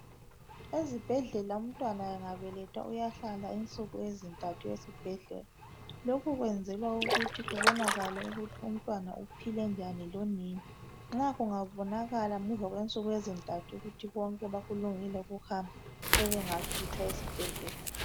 Ezibhedlela umntwana engabelethwa uyahlala insuku ezinthathu esibhedlela lokhu kwenzela kuthi kubonakale ukuthi umntwana uphile njani lonina nxa kungabonakala ngemuva kwensuku ezithathu kuthi kwonke bakulungile kuhamba sebengakhitshwa esibhedlela.